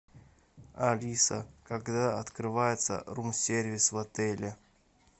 алиса когда открывается рум сервис в отеле